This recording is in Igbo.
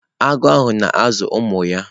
Agụ ahụ na-azụ ụmụ ya.